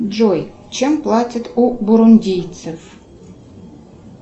джой чем платят у бурундейцев